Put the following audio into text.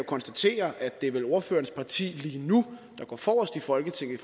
konstatere at det vel er ordførerens parti der lige nu går forrest i folketinget i